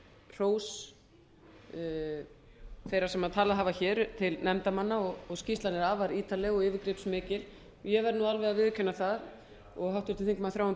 hrós þeirra sem talað hafa hér til nefndarmanna og skýrslan er afar ítarleg og yfirgripsmikil ég verð nú alveg að viðurkenna það og háttvirtur þingmaður þráinn